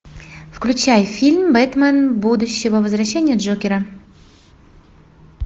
включай фильм бэтмен будущего возвращение джокера